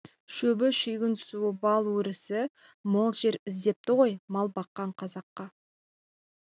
шөбі шүйгін суы бал өрісі мол жер іздепті ғой мал баққан қазаққа